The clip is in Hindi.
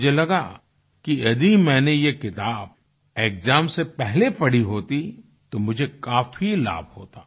मुझे लगा कि यदि मैंने ये किताब एक्साम से पहले पढ़ी होती तो मुझे काफी लाभ होता